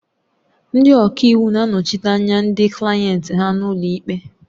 Ndị ọka iwu na-anọchite anya ndị klayenti ha n'ụlọ ikpe.